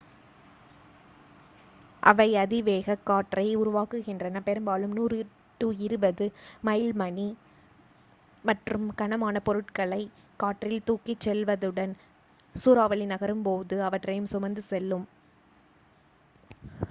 அவை அதிவேகக் காற்றை உருவாக்குகின்றன பெரும்பாலும் 100-200 மைல்/மணி மற்றும் கனமான பொருட்களைக் காற்றில் தூக்கிச் செல்வதுடன் சூறாவளி நகரும்போது அவற்றையும் சுமந்து செல்லும்